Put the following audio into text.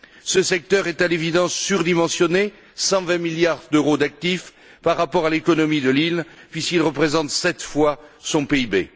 Ce secteur est, à l'évidence, surdimensionné 120 milliards d'euros d'actif par rapport à l'économie de l'île, puisqu'il représente sept fois son PIB.